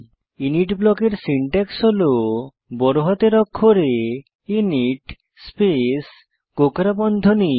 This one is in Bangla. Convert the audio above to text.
ইনিট ব্লকের সিনট্যাক্স হল বড় হাতের অক্ষরে ইনিট স্পেস কোঁকড়া বন্ধনী